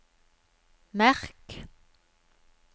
merk